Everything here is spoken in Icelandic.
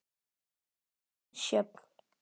Þín, Sjöfn.